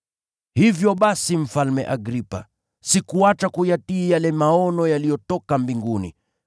“Hivyo basi, Mfalme Agripa, sikuacha kuyatii yale maono yaliyotoka mbinguni,